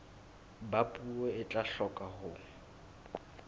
ba puo e tla hloka